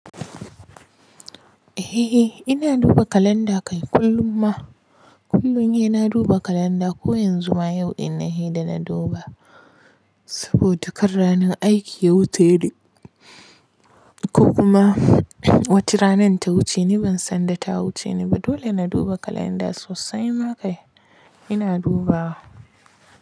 Eh, ina duba kalanda kai kullum ma. Kullum ina duba kalanda. Ko yanzu ma yau ina sai da na duba. Saboda kar ranar aiki ya wuce ne, ko kuma wace rana ta wuce ni ban san da ta wuce ni ba. Dole na duba kalanda sosai ma kai ina duba.